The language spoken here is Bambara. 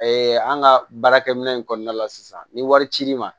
an ka baarakɛminɛn in kɔnɔna la sisan ni wari cir'i ma